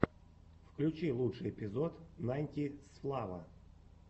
включи лучший эпизод найнтисфлава